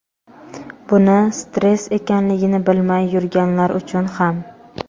buni stress ekanligini bilmay yurganlar uchun ham.